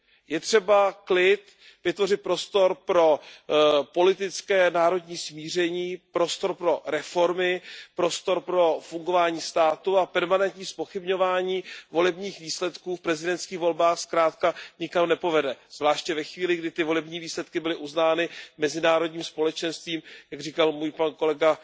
Je třeba klid, vytvořit prostor pro politické národní smíření, prostor pro reformy, prostor pro fungování státu a permanentní zpochybňování volebních výsledků v prezidentských volbách zkrátka nikam nepovede, zvláště ve chvíli, kdy ty volební výsledky byly uznány mezinárodním společenstvím, jak říkal můj kolega